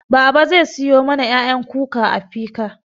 Babaa zai siyo mana ƴaƴan kuka a fika